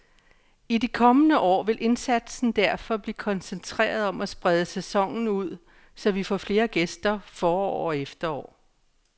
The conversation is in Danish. I de kommende år vil indsatsen derfor blive koncentreret om at sprede sæsonen ud, så vi får flere gæster forår og efterår.